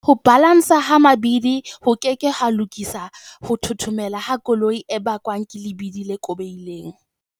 Ho balanswa ha mabidi ho ke ke ha lokisa ho thothomela ha koloi ho bakwang ke lebidi le kobehileng.